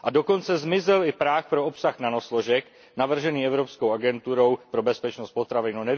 A dokonce zmizel i práh pro obsah nanosložek navržených Evropskou agenturou pro bezpečnost potravin.